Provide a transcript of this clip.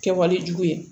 Kɛwale jugu ye